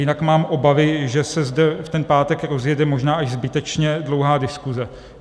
Jinak mám obavy, že se zde v ten pátek rozjede možná až zbytečně dlouhá diskuse.